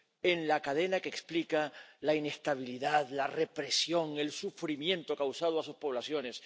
en la cadena que explica la inestabilidad, la represión, el sufrimiento causado a sus poblaciones